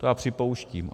To já připouštím.